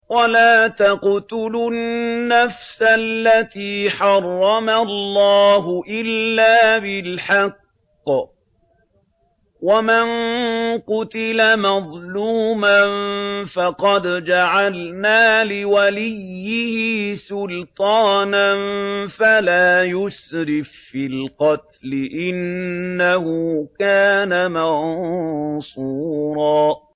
وَلَا تَقْتُلُوا النَّفْسَ الَّتِي حَرَّمَ اللَّهُ إِلَّا بِالْحَقِّ ۗ وَمَن قُتِلَ مَظْلُومًا فَقَدْ جَعَلْنَا لِوَلِيِّهِ سُلْطَانًا فَلَا يُسْرِف فِّي الْقَتْلِ ۖ إِنَّهُ كَانَ مَنصُورًا